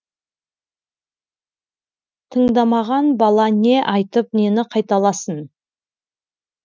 тыңдамаған бала не айтып нені қайталасын